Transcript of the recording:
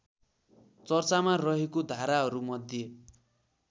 चर्चामा रहेको धाराहरूमध्ये